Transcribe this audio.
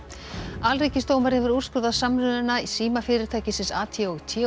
alríkisdómari hefur úrskurðað samruna símafyrirtækisins ATT og